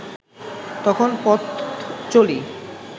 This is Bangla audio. তখন পথ চলি